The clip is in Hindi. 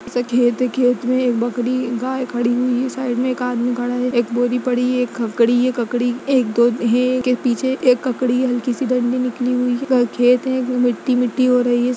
इसे खेत है खेत में एक बकरी गाय खड़ी हुई है साइड में एक आदमी खड़ा है एक बोरी पड़ी है एक खकड़ी ये ककड़ी एक दो हैं के पीछे एक ककड़ी है हलसी सी डंडी निकली हुई है अगा खेत है मिट्टी-मिट्टी हो रही है।